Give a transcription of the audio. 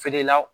Feere la